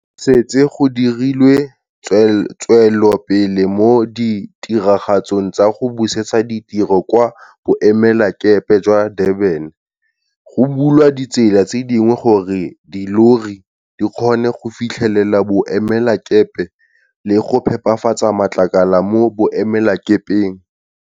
Setse go dirilwe tswelopele mo ditiragatsong tsa go busetsa ditiro kwa Boemelakepe jwa Durban. Go bulwa ditsela tse dingwe gore dillori di kgone go fitlhelela boemelakepe le go phepafatsa matlakala mo boemelakepeng.